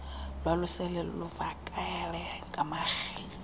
lwalusele luvakele ngamarhe